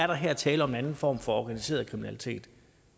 der her er tale om en anden form for organiseret kriminalitet